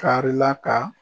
Tari la ka